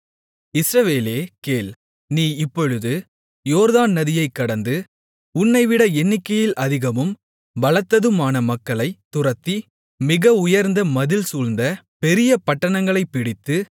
இஸ்ரவேலே கேள் நீ இப்பொழுது யோர்தான் நதியை கடந்து உன்னைவிட எண்ணிக்கையில் அதிகமும் பலத்ததுமான மக்களைத் துரத்தி மிக உயர்ந்த மதில் சூழ்ந்த பெரிய பட்டணங்களைப் பிடித்து